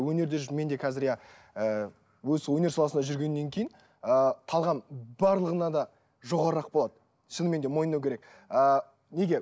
өнерде жүріп мен де қазір иә ы осы өнер саласында жүргеннен кейін ыыы талғам барлығына да жоғарырақ болады шынымен де мойындау керек ы неге